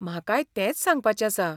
म्हाकाय तेंच सांगपाचें आसा.